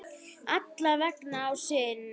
Alla vega að sinni.